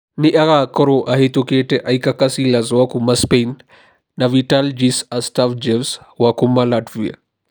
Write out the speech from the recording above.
Nĩ agaakorũo ahĩtũkĩte Iker Casillas wa kuuma Spain na Vitalijs Astafjevs wa kuuma Latvia.